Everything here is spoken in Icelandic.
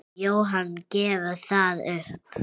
Jóhann: Gefurðu það upp?